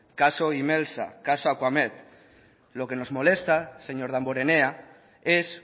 caso imelsa caso acuamed lo que nos molesta señor damborenea es